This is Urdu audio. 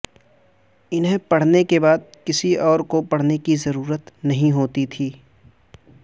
انہیں پڑھنے کے بعد کسی اور کو پڑھنے کی ضرورت نہیں ہوتی تھی